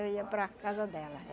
eu ia para a casa dela.